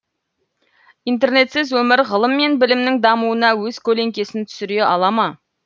интернетсіз өмір ғылым мен білімнің дамуына өз көлеңкесін түсіре ала ма